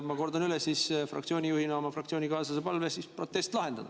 Ma kordan fraktsiooni juhina oma fraktsioonikaaslase palvet protest lahendada.